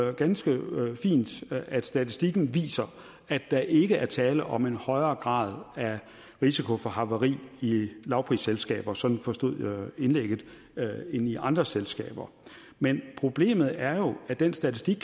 er ganske fint at statistikken viser at der ikke er tale om en højere grad af risiko for havari i lavprisselskaber sådan forstod jeg indlægget end i andre selskaber men problemet er jo at den statistik